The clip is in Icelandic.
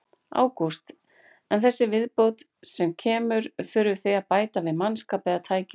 Ágúst: En þessi viðbót sem kemur, þurfið þið að bæta við mannskap eða tækjum?